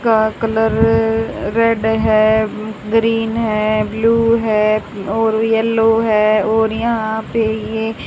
का colour red है green है ब्लू हैं और येलो है और यहां पे ये --